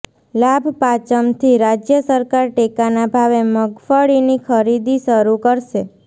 લાભપાંચમથી રાજ્ય સરકાર ટેકાના ભાવે મગફળીની ખરીદી શરૂ કરશે